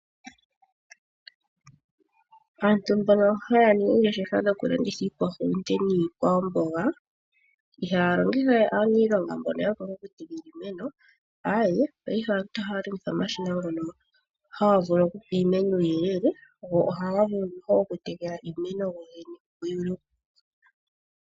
Aantu mbono haa ningi oongeshefa dhokulanditha iikwahulunde niikwamboga, ihaa longitha we aaniilonga mbono ya pumbwa okutekela iimeno, aawe, paife aantu ohaa longitha omashina ngono haga vulu okupa iimeno uuyelele go ohaga vulu okutekela iimeno go gene.